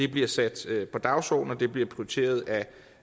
bliver sat på dagsordenen og at det bliver prioriteret af